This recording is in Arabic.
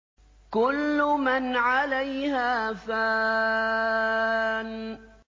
كُلُّ مَنْ عَلَيْهَا فَانٍ